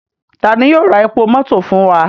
Tani yoo ra epo mọto fun wa?